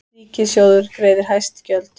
Ríkissjóður greiðir hæst gjöld